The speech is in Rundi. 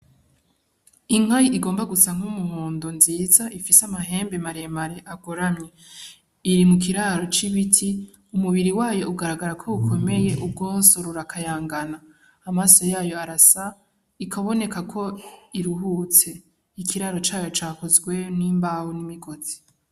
Inka igomba gusa nk'umuhondo nziza, ifise amahembe maremare agoramye, iri mu kiraro c'ibiti umubiri wayo ugaragaza ko ukomeye gose urakayangana, amaso yayo arasa ikaboneka ko iruhutse ikiraro cayo cakozwe n'imbaho n'imigozi.